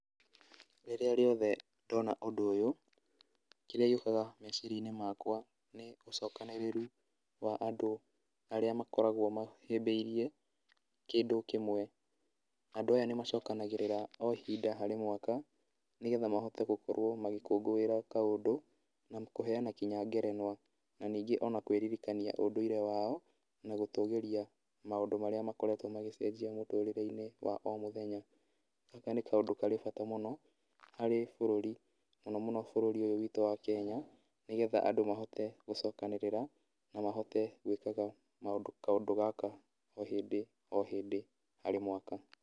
Rĩrĩa rĩothe ndona ũndũ ũyũ kĩrĩa gĩũkaga meciria-inĩ makwa nĩ ũcokanĩrĩru wa andũ arĩa makoragwo mahĩmbĩirie kĩndũ kĩmwe, andũ aya nĩ macokanagĩrĩra o ihinda harĩ mwaka nĩgetha makorwo magĩkũngũĩra kaũndũ na kũheana nginya ngerenwa, na ningĩ ona kwĩririkania ũndũire wao, na gũtũgĩria maũndũ marĩa makoretwo magacenjia mũtũrĩre-inĩ wa o mũthenya, na nĩ kaũndũ karĩ bata mũno harĩ bũrũri mũno mũno, bũrũri ũyũ witũ wa Kenya, nĩgetha andũ mahote gũcokanĩrĩra mahote gwĩkaga kaũndũ gaka o hĩndĩ o hĩndĩ harĩ mwaka.